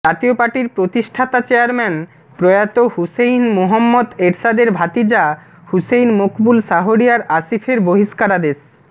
জাতীয় পার্টির প্রতিষ্ঠাতা চেয়ারম্যান প্রয়াত হুসেইন মুহম্মদ এরশাদের ভাতিজা হুসেইন মকবুল শাহরিয়ার আসিফের বহিষ্কারাদেশ